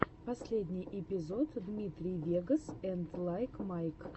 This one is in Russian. последний эпизод дмитрий вегас энд лайк майк